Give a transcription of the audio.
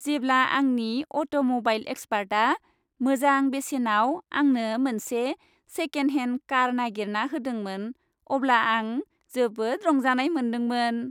जेब्ला आंनि अट'म'बाइल एक्सपार्टआ मोजां बेसेनाव आंनो मोनसे सेकेन्ड हेन्ड कार नागिरना होदोंमोन अब्ला आं जोबोद रंजानाय मोनदोंमोन।